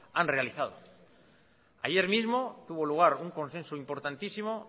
han realizado ayer mismo tuvo lugar un consenso importantísimo